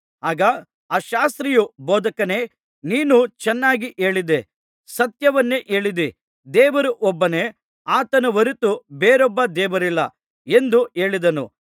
ಆಗ ಆ ಶಾಸ್ತ್ರಿಯು ಬೋಧಕನೇ ನೀನು ಚೆನ್ನಾಗಿ ಹೇಳಿದೆ ಸತ್ಯವನ್ನೇ ಹೇಳಿದಿ ದೇವರು ಒಬ್ಬನೇ ಆತನ ಹೊರತು ಬೇರೊಬ್ಬ ದೇವರಿಲ್ಲ ಎಂದು ಹೇಳಿದನು